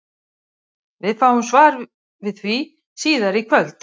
Við fáum svar við því síðar í kvöld!